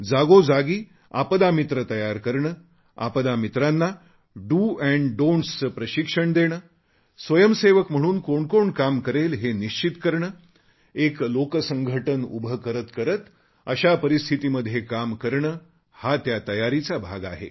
जागोजागी आपदा मित्र तयार करणे आपदा मित्रांना डीओ donटीएस चे प्रशिक्षण देणे स्वयंसेवक म्हणून कोण कोण काम करेल हे निश्चित करणे एक लोकसंघटन उभे करत अशा परिस्थितीमध्ये काम करणे हा त्या तयारीचा भाग आहे